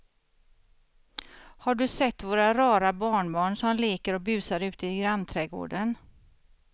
Har du sett våra rara barnbarn som leker och busar ute i grannträdgården!